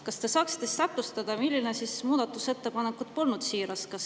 Kas te saaksite täpsustada, milline muudatusettepanek polnud siiras?